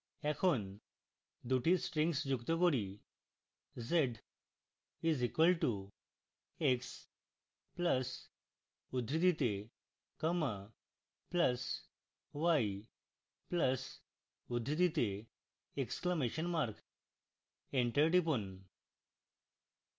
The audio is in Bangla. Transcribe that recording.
এখন দুটি strings যুক্ত করি